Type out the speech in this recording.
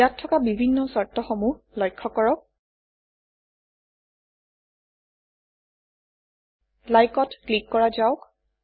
ইয়াত থকা বিভিন্ন চৰ্তসমূহ লক্ষ্য কৰক Like অত ক্লিক কৰা যাওক